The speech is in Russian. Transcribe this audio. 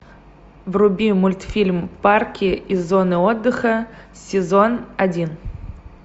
вруби мультфильм парки и зоны отдыха сезон один